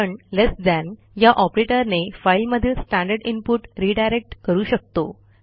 आपण less than या ऑपरेटरने फाईलमधील स्टँडर्ड इनपुट रिडायरेक्ट करू शकतो